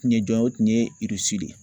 kun ye jɔn ye o kun ye de ye